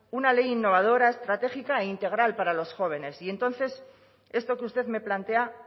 una ley innovadora estratégica e integral para los jóvenes y entonces esto que usted me plantea